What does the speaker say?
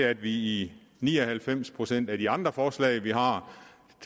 at vi i ni og halvfems procent af de andre forslag vi har